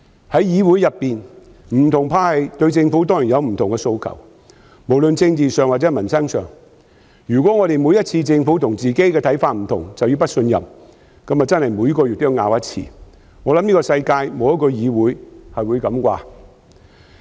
在議會中，不同派系當然會對政府有不同的訴求，無論在政治或民生議題上，如果每次政府和自己的想法不同便要提出不信任議案，那麼我們每月都要爭辯一次，我想世界上沒有一個議會是這樣做。